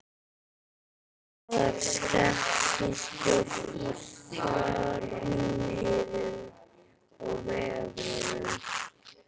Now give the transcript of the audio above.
Blaðar skeptískur í farmiðum og vegabréfum.